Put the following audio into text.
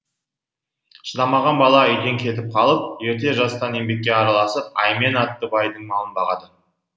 шыдамаған бала үйден кетіп қалып ерте жастан еңбекке араласып аймен атты байдың малын бағады